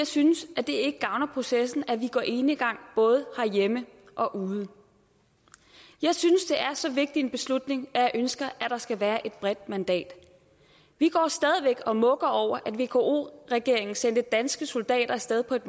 synes at det gavner processen at vi går enegang både hjemme og ude jeg synes det er så vigtig en beslutning at jeg ønsker at der skal være et bredt mandat vi går stadig væk og mukker over at vk regeringen sendte danske soldater af sted på et